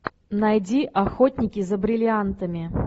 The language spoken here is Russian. найди охотники за бриллиантами